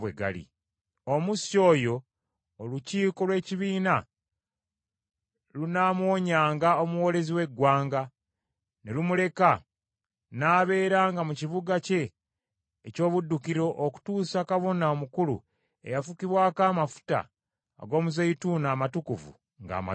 Omussi oyo olukiiko lw’ekibiina lunaamuwonyanga omuwoolezi w’eggwanga, ne lumuleka n’abeeranga mu kibuga kye eky’obuddukiro okutuusa Kabona Omukulu eyafukibwako amafuta ag’omuzeeyituuni amatukuvu ng’amaze okufa.